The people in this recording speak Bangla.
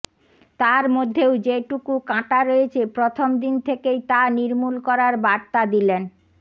তার মধ্যেও যেটুকু কাঁটা রয়েছে প্রথম দিন থেকেই তা নির্মূল করার বার্তা দিলেন